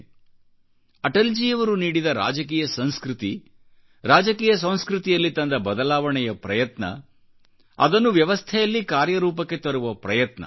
ಅದು ಏನೆಂದರೆ ಅಟಲ್ಜಿಯವರು ನೀಡಿದ ರಾಜಕೀಯ ಸಂಸ್ಕೃತಿ ರಾಜಕೀಯ ಸಂಸ್ಕೃತಿಯಲ್ಲಿ ತಂದ ಬದಲಾವಣೆಯ ಪ್ರಯತ್ನಅದನ್ನು ವ್ಯವಸ್ಥೆಯಲ್ಲಿ ಕಾರ್ಯರೂಪಕ್ಕೆ ತರುವ ಪ್ರಯತ್ನ